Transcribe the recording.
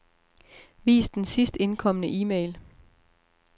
Vis den sidst indkomne e-mail.